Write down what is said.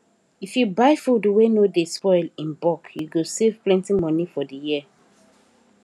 if you buy food wey no dey spoil in bulk you go save plenty money for the year